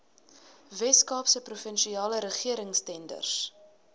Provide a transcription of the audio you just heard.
weskaapse provinsiale regeringstenders